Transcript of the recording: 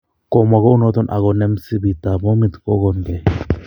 kamwa kounaton akonem msibiit ap pomiit kogongee